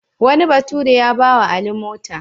Wani bature ya ba wa Ali mota.